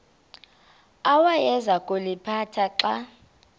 awayeza kuliphatha xa